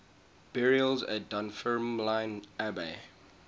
burials at dunfermline abbey